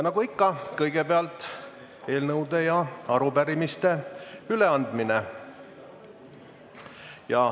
Nagu ikka on kõigepealt eelnõude ja arupärimiste üleandmine.